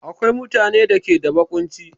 Akwai mutane da ke da baƙunci